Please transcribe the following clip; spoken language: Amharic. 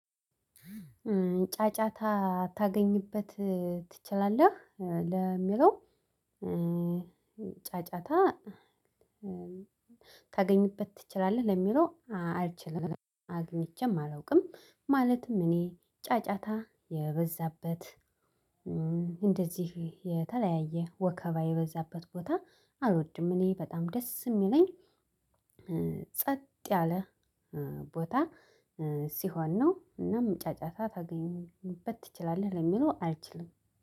ጫጫታ ታገኝበት ትችላለህ? ለሚለው ጫጫታ ታገኝበት ትችላለህ ለሚለው አልችልም አግኝቼም አላውቅም። ማለትም እኔ ጫጫታ የበዛበት እንደዚህ የተለያየ ወከባ በዛበት ቦታ አልወድም። እኔ በጣም ደስ የሚለኝ ጸጥ ያለ ቦታ ሲሆን ነው። እናም ጫጫታ ታገኝበት ትችላለህ ለሚለው አልችልም።